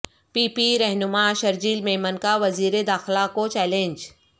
پی P رہنما شرجیل میمن کا وزیرداخلہ کو چیلنج